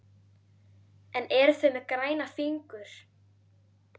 En eru þau með græna fingur?